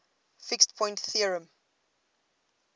fixed point theorem